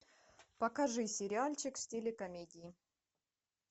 покажи сериальчик в стиле комедии